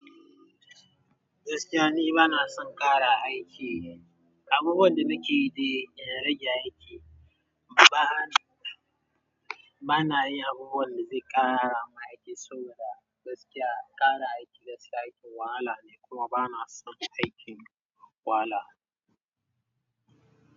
Gaskiya ni bana son ƙara aiki. Abubuwan da nake yi dai in rage aiki. Bana, bana yi abubuwan da zai ƙara ma aiki saboda gaskiya ƙara aiki da sai aikin wahala ne kuma bana son aikin wahala.